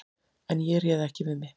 En ég réð ekki við mig.